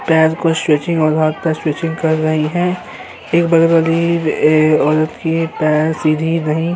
पैर को स्विचिंग और आपका स्विचिंग कर रही है। एक बगल वाली ये औरत के पर सीधी नहीं --